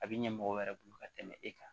A bɛ ɲɛ mɔgɔw wɛrɛ bolo ka tɛmɛ e kan